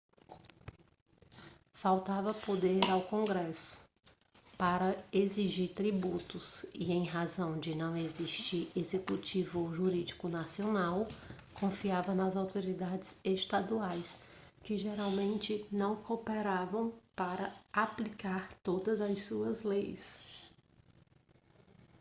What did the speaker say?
faltava poder ao congresso para exigir tributos e em razão de não existir executivo ou judiciário nacional confiava nas autoridades estaduais que geralmente não cooperavam para aplicar todas as suas leis